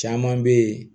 Caman bɛ yen